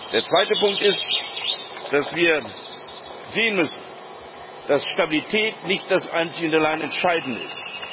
Der zweite Punkt ist, dass wir sehen müssen, dass Stabilität nicht das einzig Entscheidende ist.